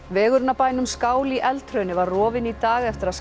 vegurinn að bænum skál í var rofinn í dag eftir að